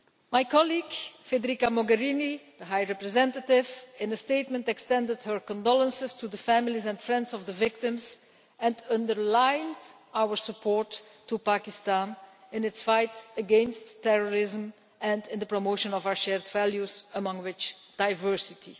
My colleague Federica Mogherini, the High Representative, in a statement extended her condolences to the families and friends of the victims and underlined our support to Pakistan in its fight against terrorism and in the promotion of our shared values, among which is diversity.